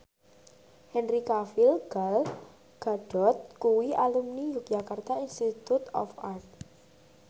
Henry Cavill Gal Gadot kuwi alumni Yogyakarta Institute of Art